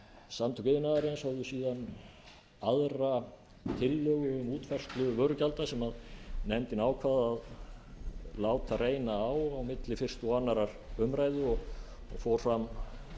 samtök iðnaðarins hófu síðan aðra tillögu um útfærslu vörugjalda sem nefndin ákvað að láta reyna á á milli fyrstu og annarrar umræðu og fór fram